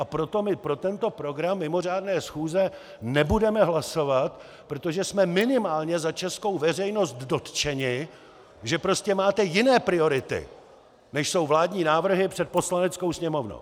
A proto my pro tento program mimořádné schůze nebudeme hlasovat, protože jsme minimálně za českou veřejnost dotčeni, že prostě máte jiné priority, než jsou vládní návrhy, před Poslaneckou sněmovnou!